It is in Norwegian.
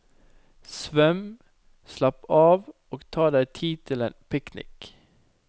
Svøm, slapp av og ta deg tid til en picnic.